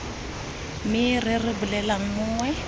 me re re bolelelang mongwe